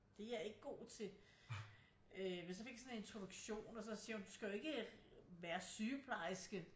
Det er jeg ikke god til øh men så fik jeg sådan en introduktion og så siger hun du skal jo ikke være øh sygeplekerske